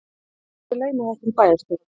Gerðu athugasemd við launahækkun bæjarstjóra